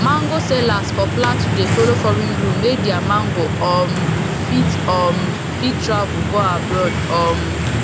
mango sellers for plateau dey follow foreign rule make their mango um fit um fit travel go abroad um